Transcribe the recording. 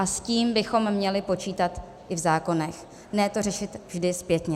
A s tím bychom měli počítat i v zákonech, ne to řešit vždy zpětně.